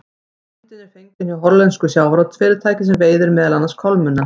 Myndin er fengin hjá hollensku sjávarútvegsfyrirtæki sem veiðir meðal annars kolmunna.